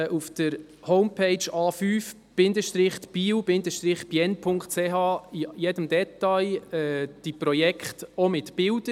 Auf der Homepage www.a5-biel-bienne.ch finden Sie die Projekte mit jedem Detail, auch mit Bildern.